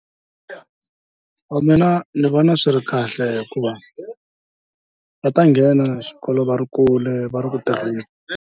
Mina ni vona swi ri kahle hikuva va ta nghena xikolo va ri kule va ri ku tirheni.